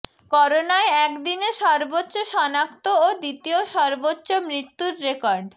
করোনায় একদিনে সর্বোচ্চ শনাক্ত ও দ্বিতীয় সর্বোচ্চ মৃত্যুর রেকর্ড